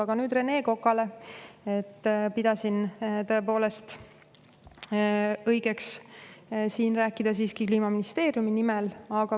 Aga nüüd Rene Kokale: ma pidasin tõepoolest õigeks siin rääkida siiski Kliimaministeeriumi nimel.